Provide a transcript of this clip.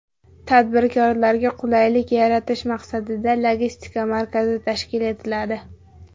Tadbirkorlarga qulaylik yaratish maqsadida logistika markazi tashkil etiladi.